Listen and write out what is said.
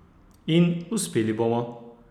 In uspeli bomo!